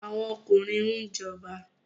Àwọn ọkùnrin ń jọba